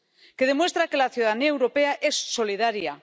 que demuestra que la ciudadanía europea es solidaria